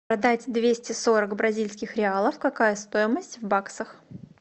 продать двести сорок бразильских реалов какая стоимость в баксах